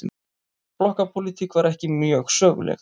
Flokkapólitík var ekki mjög söguleg.